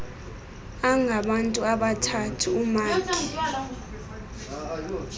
angabantu abathathu umakhi